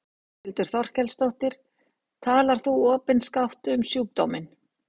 Þórhildur Þorkelsdóttir: Talar þú opinskátt um sjúkdóminn?